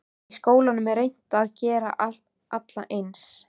Í skólum er reynt að gera alla eins.